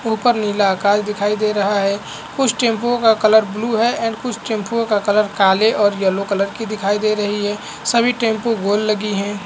ऊपर नीला आकाश दिखाई दे रहा है कुछ टैम्पूओ का कलर ब्लू है एंड कुछ टैम्पूओ का कलर काले और येलो कलर की दिखाई दे रही है सभी टेंपू गोल लगी है।